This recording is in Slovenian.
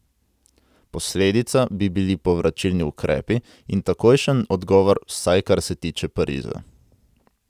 Posledica bi bili povračilni ukrepi in takojšen odgovor, vsaj kar se tiče Pariza.